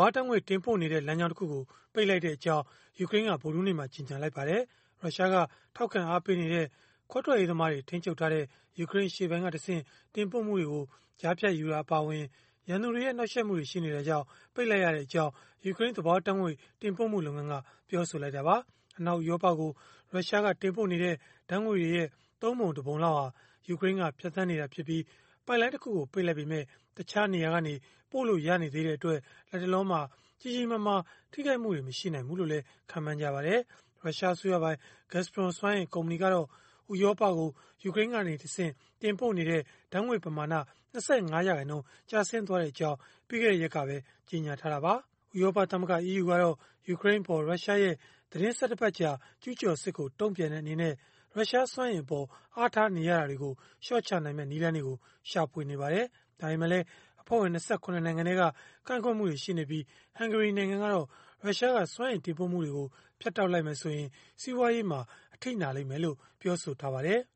ာတ်ငွေ့ တင်ပို့နေတဲ့ လမ်းကြောင်းတခုကို ပိတ်လိုက်ကြောင်း ယူကရိန်းက ဗုဒ္ဓဟူးနေု့မှာပဲ ကြေညာလိုက်ပါတယ်။ ရုရှားက ထောက်ခံအားပေးနေတဲ့ ခွဲထွက်ရေးသမားတွေ ထိန်းချုပ်ထားတဲ့ ယူကရိန်းအရှေ့ပိုင်းကတဆင့် တင်ပို့မှုတွေကို ကြားဖြတ်ယူတာ အပါအဝင် ရန်သူတွေရဲ့ နှောက်ယှက်မှုတွေ ရှိနေတာကြောင့် ပိတ်လိုက်ပြီဖြစ်ကြောင်း ယူကရိန်းသဘာဝဓာတ်ငွေ့ တင်ပို့မှုလုပ်ငန်းက ပြောဆိုခဲ့တာပါ။ အနောက်ဥရောပကို ရုရှားကတင်ပို့နေတဲ့ ဓာတ်ငွေ့တွေရဲ့ ၃ ပုံ ၁ ပုံလောက်ဟာ ယူကရိန်းက ဖြတ်သန်းနေတာဖြစ်ပြီး၊ ပိုက်လိုင်းတခု ပိတ်လိုက်ပေမဲ့ တခြားနေရာကနေ ပို့လို့ရနေတဲ့အတွက် လတ်တလော ကြီးကြီးမားမား ထိခိုက်မှု မရှိနိုင်ဘူးလို့လည်း ခန့်မှန်းနေကြပါတယ်။ ရုရှားအစိုးရပိုင် Gazprom စွမ်းအင် ကုမ္ပဏီကတော့ ဥရောပကို ယူကရိန်းကတဆင့် တင်ပို့တဲ့ ဓာတ်ငွေ့ပမာဏ ၂၅ ရာခိုင်နှုန်း ကျဆင်းသွားကြောင်း ပြီးခဲ့တဲ့ရက်ကပဲ ကြေညာထားတာပါ။ ဥရောပသမဂ္ဂ (EU) ကတော့ ယူကရိန်းအပေါ် ရုရှားရဲ့ သီတင်း ၁၁ ပတ်ကြာ ကျုးကျော်စစ်ကို တုံ့ပြန်တဲ့အနေနဲ့ ရုရှားစွမ်းအင်အပေါ် အားထားနေရတာကို လျှော့ချဖို့ နည်းလမ်းတွေကို ရှာဖွေနေပါတယ်။ ဒါပေမဲ့လည်း အဖွဲ့ဝင် ၂၇ နိုင်ငံထဲက ကန့်ကွက်မှုတွေ ရှိနေပြီး ဟန်ဂေရီနိုင်ငံကတော့ ရုရှားက စွမ်းအင်တင်ပို့မှု ဖြတ်တောက်လိုက်ရင် စီးပွားရေး အထိနာလိမ့်မယ်လို့ ပြောဆိုထားပါတယ်။